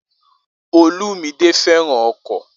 Olumide fẹ́ràn ọkọ̀